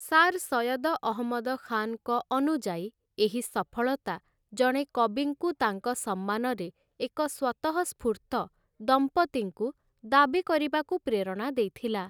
Sir Syed Ahmad ଖାନ୍‌ଙ୍କ ଅନୁଯାୟୀ, ଏହି ସଫଳତା ଜଣେ କବିଙ୍କୁ ତାଙ୍କ ସମ୍ମାନରେ ଏକ ସ୍ୱତଃସ୍ଫୂର୍ତ୍ତ ଦମ୍ପତିଙ୍କୁ ଦାବି କରିବାକୁ ପ୍ରେରଣା ଦେଇଥିଲା ।